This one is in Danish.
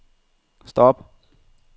stop